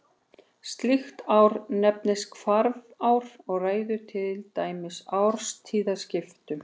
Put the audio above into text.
Slíkt ár nefnist hvarfár og ræður til dæmis árstíðaskiptum.